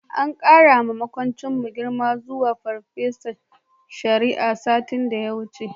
An ƙarawa maƙocinmu girma zuwa farfesan shari'a, satin da ya wuce.